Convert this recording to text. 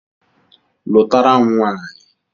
Lụtara m nwanyị!